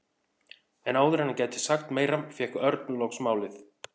En áður en hann gæti sagt meira fékk Örn loks málið.